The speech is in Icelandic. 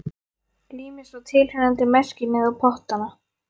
Lími svo tilheyrandi merkimiða á pottana.